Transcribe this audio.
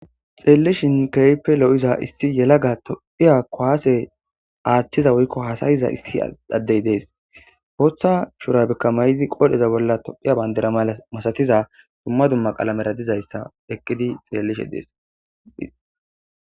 Xeellishin keype lo'iza issi yelaga tophiya koaase aaththiza woykko hasayiza issi addey dees hootha shurabikka may'idi qoodheza bolla tophiya bayndera mala masatiza dumma dumma qalamera dizayssa eqqidi xeellishe dees.